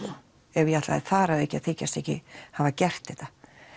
ef ég ætlaði þar að auki að þykjast ekki hafa gert þetta